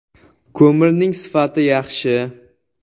Ko‘mirning sifati yaxshi.